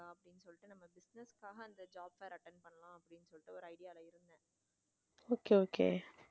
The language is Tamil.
Okay okay